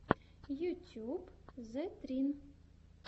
ютьюб зэтрин